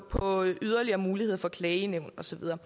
på yderligere muligheder for klagenævn og så videre